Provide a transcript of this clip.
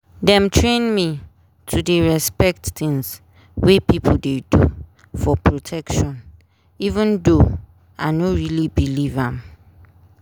dem train me to dey respect tins wey people dey do for protection even though i no really believe am.